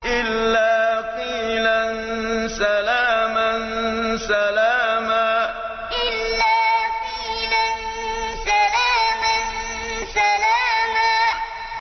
إِلَّا قِيلًا سَلَامًا سَلَامًا إِلَّا قِيلًا سَلَامًا سَلَامًا